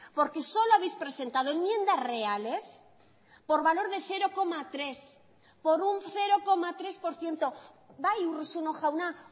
porque solo habéis presentado enmiendas reales por valor de cero coma tres por un cero coma tres por ciento bai urruzuno jauna